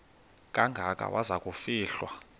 kangaka waza kufihlwa